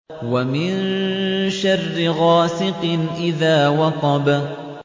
وَمِن شَرِّ غَاسِقٍ إِذَا وَقَبَ